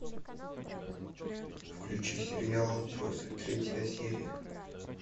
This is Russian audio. включи сериал отбросы третья серия